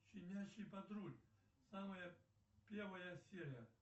щенячий патруль самая первая серия